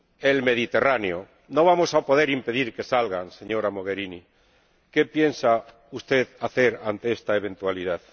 El Mediterráneo. No vamos a poder impedir que salgan, señora Mogherini, ¿qué piensa usted hacer ante esta eventualidad?